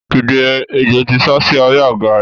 Dìde! Ejò ti sásí abẹ́ àga rẹ.